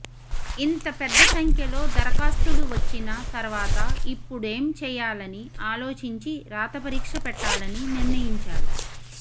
ఇంత పెద్ద సంఖ్యలో దరఖాస్తులు వచ్చిన తర్వాత ఇప్పు డేం చేయాలని ఆలోచించి రాతపరీక్ష పెట్టాలని నిర్ణయించారు